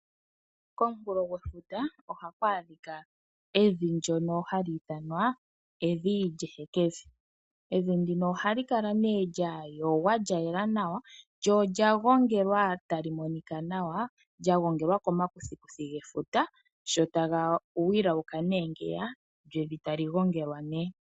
Komunkulo gwefuta oha ku adhikwa evi ndyono ha li ithanwa evi lyeheke vi. Evi ndino oha li kala nee lyayogwa, lyayela nawa, lyo olyagongelwa tali monikwa nawa. Lyagongelwa komakuthikuthi gefuta sho taga wilauka nee ngiya lyo evi ta li gongelwa nee.